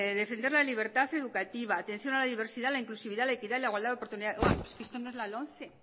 defender la libertad educativa atención a la diversidad la inclusividad la equidad la igualdad de oportunidades vamos que esto no es la lomce